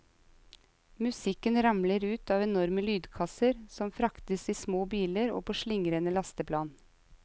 Musikken ramler ut av enorme lydkasser som fraktes i små biler og på slingrende lasteplan.